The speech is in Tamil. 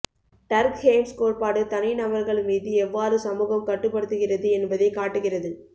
டர்க்ஹெய்ம்ஸ் கோட்பாடு தனிநபர்கள் மீது எவ்வாறு சமூகம் கட்டுப்படுத்துகிறது என்பதைக் காட்டுகிறது